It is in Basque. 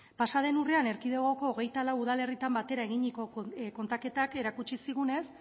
pasaden erkidegoko hogeita lau udalerritan batera eginiko kontaketak erakutsi zigunez